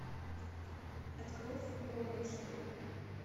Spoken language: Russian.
открой футбол на тиви